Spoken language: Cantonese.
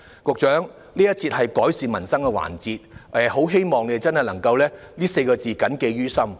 這節辯論的範疇關乎"改善民生"，我很希望局長會把這4個字謹記於心。